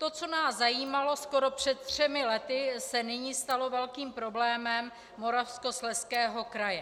To, co nás zajímalo skoro před třemi lety, se nyní stalo velkým problémem Moravskoslezského kraje.